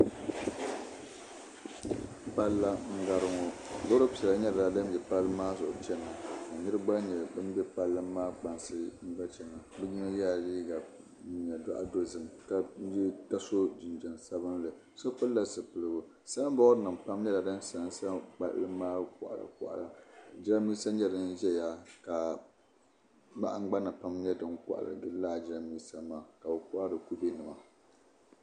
Palli n gari ŋo loori piɛla nyɛla din bɛ palli maa zuɣu chɛna ka niraba gba nyɛ bin bɛ kpansi so yɛla din nyɛ zaɣ dozim ka so jinjɛm sabinli so pilla zipiligu sanbood nim nyɛla din sansa palli maa koɣala koɣala jiranbiisa nyɛ ʒɛya ka bahangbana pam nyɛ din ko n gili laa jiranbiisa maa ka bi kohari kubɛ nima